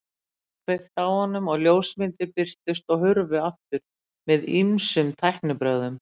Það var kveikt á honum og ljósmyndir birtust og hurfu aftur með ýmiskonar tæknibrögðum.